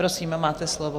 Prosím, máte slovo.